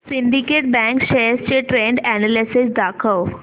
Syndicate bank shares चे trend analysis दाखव